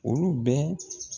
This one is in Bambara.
Olu bɛɛ.